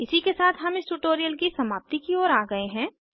इसी के साथ हम इस ट्यूटोरियल की समाप्ति की ओर आ गये हैं